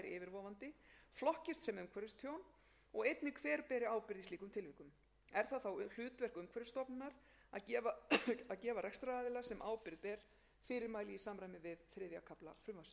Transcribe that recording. umhverfistjón og einnig hver ber ábyrgð í slíkum tilvikum er það þá hlutverk umhverfisstofnunar að gefa rekstraraðila sem ábyrgð ber fyrirmæli í samræmi við þriðja kafla frumvarpsins eins og áður er getið er í fyrsta viðauka frumvarpsins fjallað um úrbætur vegna þess